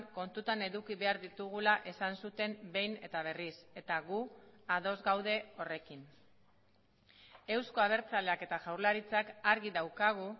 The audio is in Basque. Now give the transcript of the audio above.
kontutan eduki behar ditugula esan zuten behin eta berriz eta gu ados gaude horrekin euzko abertzaleak eta jaurlaritzak argi daukagu